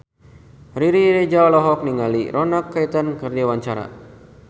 Riri Reza olohok ningali Ronan Keating keur diwawancara